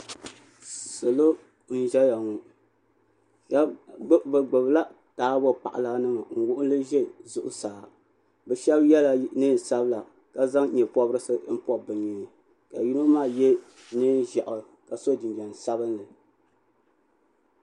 salo n ʒɛya ŋɔ bi gbubila taabo paɣala nima n wuɣuli ʒɛ zuɣusaa bi shab yɛla neen sabila ka zaŋ nyɛ pobirisi n pobi bi nyee ka yino maa yɛ neen ʒiɛhi ka so jinjɛm sabinli